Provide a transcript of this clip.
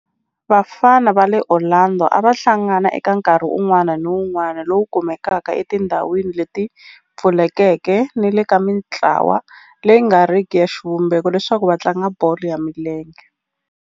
Vafana va le Orlando a va hlangana eka nkarhi wun'wana ni wun'wana lowu kumekaka etindhawini leti pfulekeke ni le ka mintlawa leyi nga riki ya xivumbeko leswaku va tlanga bolo ya milenge.